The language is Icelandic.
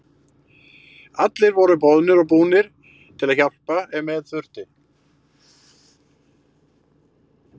Allir voru boðnir og búnir til að hjálpa ef með þurfti.